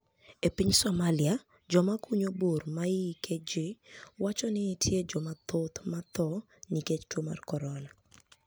E piniy Somalia joma kuniyo bur maihike ji, wacho niitie joma thoth ma tho niikech tuo mar koronia.